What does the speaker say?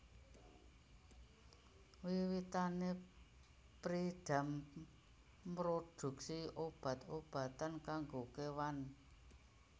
Wiwitané Pyridam mroduksi obat obatan kanggo kewan